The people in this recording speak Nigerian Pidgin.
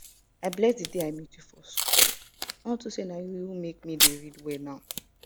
i bless the day i you for unto say na you make me dey read well now